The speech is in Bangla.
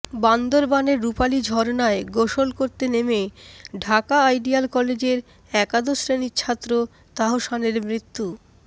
বান্দরবানের রুপালি ঝরনায় গোসল করতে নেমে ঢাকা আইডিয়াল কলেজের একাদশ শ্রেণির ছাত্র তাহসানের মৃত্যু